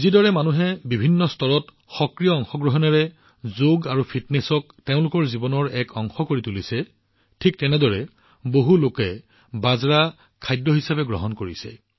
যিদৰে জনসাধাৰণে বৃহৎ পৰিমাণত সক্ৰিয় অংশগ্ৰহণ কৰি যোগ আৰু ফিটনেছক তেওঁলোকৰ জীৱনৰ এক অংশ কৰি তুলিছে একেদৰে তেওঁলোকে বৃহৎ পৰিমাণত বাজৰাও গ্ৰহণ কৰি আছে